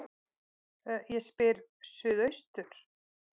Ég spyr: Suðaustur